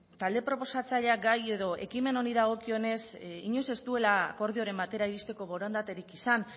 talde proposatzaileak gai edo ekimen honi dagokionez inoiz ez duela akordioren batera iristeko borondaterik izan